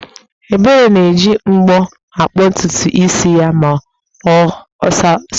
Ebere na-eji mbọ̀ abọntutu isi ya ma ọ sacha ahụ́